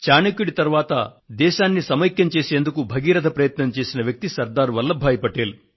చాణక్యుడి తరువాత దేశాన్ని సమైక్యం చేసేందుకు భగీరథ ప్రయత్నం చేసిన వ్యక్తి శ్రీ సర్దార్ వల్లభ్ భాయి పటేల్